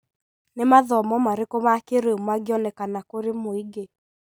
Nĩ mathomo marĩkũ ma kĩrĩu mangionekana kũrĩ mũingĩ?